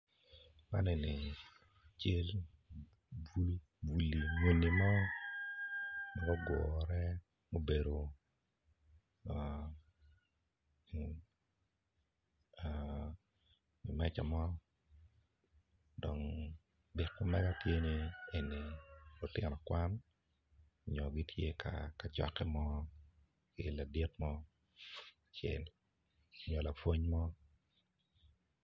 Man eni cal muni muni mo ma gugure gubedo iwi meja mo dong byek ma mega tye ni lutino kwan nyo gitye ka cokke mo ki ladit mo acel nyo lapwony mo.